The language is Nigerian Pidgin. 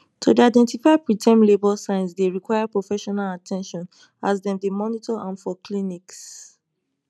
to dey identify preterm labour signs dey require professional at ten tion as dem dey monitor am for clinics